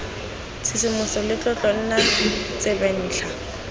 tshisimogo le tlotlo nna tsebentlha